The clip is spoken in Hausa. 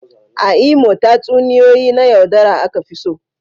A Imo, tatsuniyoyi na yaudara aka fi so.